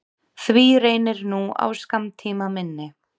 Því reynir nú á skammtímaminni.